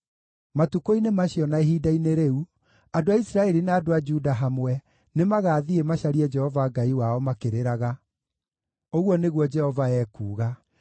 “Matukũ-inĩ macio, na ihinda-inĩ rĩu, andũ a Isiraeli na andũ a Juda hamwe nĩmagathiĩ macarie Jehova Ngai wao makĩrĩraga,” ũguo nĩguo Jehova ekuuga.